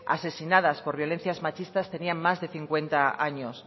asesinadas por violencias machistas tenían más de cincuenta años